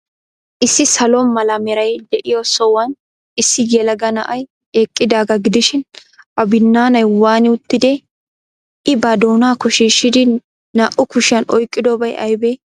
Issi salo mala meray de'iyo sohuwan issi yelaga na'ay eqqidaagaa gidishin,A binnaanay waani uttidee?I ba doonaakko shiishshidi naa''u kushiyan oyqqidobay aybee?